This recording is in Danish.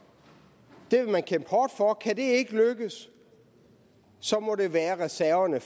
det vil man kæmpe hårdt for kan det ikke lykkes så må det være reserverne